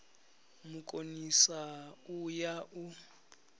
mu konisa u ya u